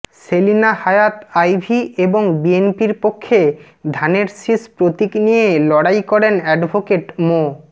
সেলিনা হায়াৎ আইভী এবং বিএনপির পক্ষে ধানের শীষ প্রতীক নিয়ে লড়াই করেন অ্যাডভোকেট মো